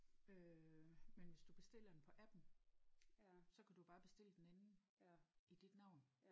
Øh men hvis du bestiller den på appen så kan du jo bare bestille den inden i dit navn